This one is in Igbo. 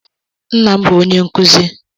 Nna m bụ onye nkụzi.